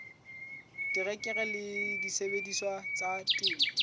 terekere le disebediswa tsa temo